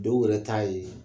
Dɔw yɛrɛ ta ye